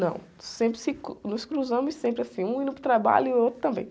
Não, sempre se, nos cruzamos, sempre assim, um indo para o trabalho e o outro também.